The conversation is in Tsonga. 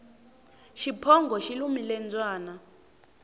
xiphongo xi lumile mbyana